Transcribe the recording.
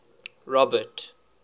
robert